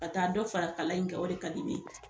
Ka taa dɔ fara kala in kan, o de ka di ne ye.